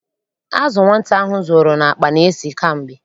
Azụ nwata ahụ zoro n'akpa na-esi kamgbe.